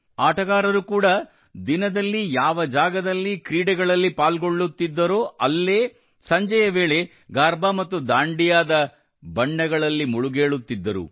ಆಟಗಾರರು ಕೂಡಾ ದಿನದಲ್ಲಿ ಯಾವ ಜಾಗದಲ್ಲಿ ಕ್ರೀಡೆಗಳಲ್ಲಿ ಪಾಲ್ಗೊಳ್ಳುತ್ತಿದ್ದರೋ ಅಲ್ಲೇ ಸಂಜೆಯ ವೇಳೆ ಗರ್ಭಾ ಮತ್ತು ದಾಂಡಿಯಾದ ವರ್ಣಗಳಲ್ಲಿ ಮುಳುಗೇಳುತ್ತಿದ್ದರು